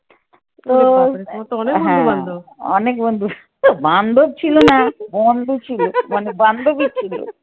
হ্যাঁ, অনেক বন্ধু, বান্ধব ছিল না, বন্ধু ছিল মানে বান্ধবী ছিল।